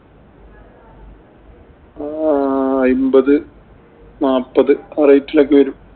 ആഹ് അയ്മ്പത്, നാപ്പത് ആ rate ഇലൊക്കെ വരും.